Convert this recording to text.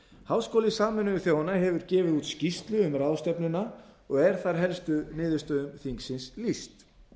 háskóli sameinuðu þjóðanna hefur gefið út skýrslu um ráðstefnuna og er þar helstu niðurstöðum þingsins lýst